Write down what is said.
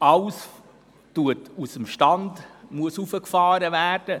Alles müsste aus dem Stand hochgefahren werden.